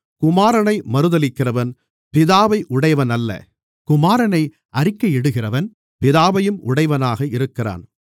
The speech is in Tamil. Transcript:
குமாரனை மறுதலிக்கிறவன் பிதாவை உடையவனல்ல குமாரனை அறிக்கையிடுகிறவன் பிதாவையும் உடையவனாக இருக்கிறான்